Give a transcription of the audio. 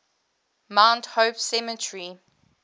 mount hope cemetery